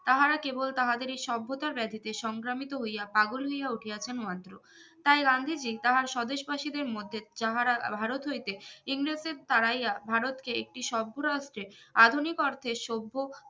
তাহারা কেবল তাহাদেরই সভ্যতা ব্যাধিতে সংক্রামিত হইয়া পাগল হইয়া উঠিয়াছেন মাত্র তাই গান্ধীজি তার স্বদেশ বাসীদের মধ্যে যাহারা ভারত হইতে ইংরেজদের তাড়াইয়া ভারতকে একটি সম্পুর্নাথে আধুনিকত্বের সভ্য